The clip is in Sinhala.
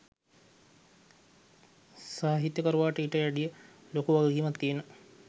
සාහිත්‍යකරුවාට ඊට වැඩිය ලොකු වගකීමක් තියෙනවා.